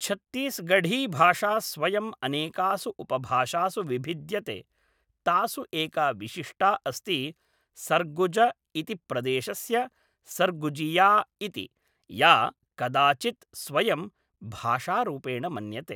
छत्तीसगढ़ीभाषा स्वयम् अनेकासु उपभाषासु विभिद्यते, तासु एका विशिष्टा अस्ति सर्गुज इति प्रदेशस्य सर्गुजिया इति, या कदाचित् स्वयं भाषारूपेण मन्यते।